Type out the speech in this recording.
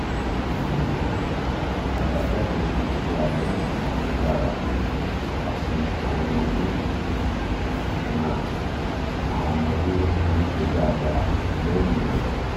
sugbon abajade ise abe naa ma n dara ati awon omode ma awon omode ma se daadaa leyin e